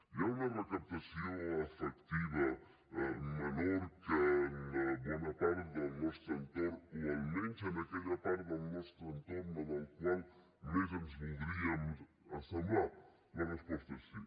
hi ha una recaptació efectiva menor que en bona part del nostre entorn o almenys en aquella part del nostre entorn a la qual més ens voldríem assemblar la resposta és sí